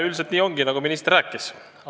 Üldiselt ongi nii, nagu minister rääkis.